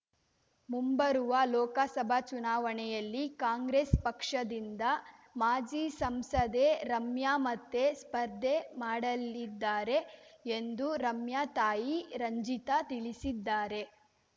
ಮುಂಬರುವ ಲೋಕಸಭಾ ಚುನಾವಣೆಯಲ್ಲಿ ಕಾಂಗ್ರೆಸ್‌ ಪಕ್ಷದಿಂದ ಮಾಜಿ ಸಂಸದೆ ರಮ್ಯಾ ಮತ್ತೆ ಸ್ಪರ್ಧೆ ಮಾಡಲಿದ್ದಾರೆ ಎಂದು ರಮ್ಯಾ ತಾಯಿ ರಂಜಿತಾ ತಿಳಿಸಿದ್ದಾರೆ